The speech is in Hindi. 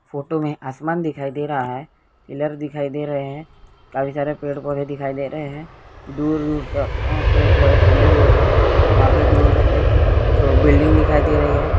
फोटो में आसमान दिखाई दे रहा है पिलार दिखाई दे रहे हैं काफी सारे पेड़ पौधे दिखाई दे रहे हैं दूर-दूर तक आ पेड़ पौधे फैले हुए हैं वहां पे दूर एक छो बिल्डिंग दिखाई दे रही है।